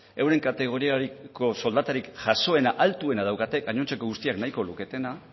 euren kategoriako soldatarik jasoena altuena daukate gainontzeko guztiak nahiko luketena